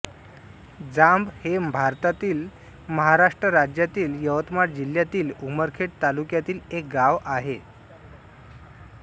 जांब हे भारतातील महाराष्ट्र राज्यातील यवतमाळ जिल्ह्यातील उमरखेड तालुक्यातील एक गाव आहे